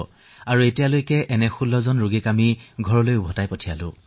এই পৰ্যন্ত আমি এনে ১৬ গৰাকী ৰোগীক ঘৰলৈ পঠিয়াইছো